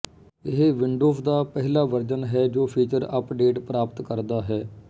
ਇਹ ਵਿੰਡੋਜ਼ ਦਾ ਪਹਿਲਾ ਵਰਜਨ ਹੈ ਜੋ ਫੀਚਰ ਅੱਪਡੇਟ ਪ੍ਰਾਪਤ ਕਰਦਾ ਹੈ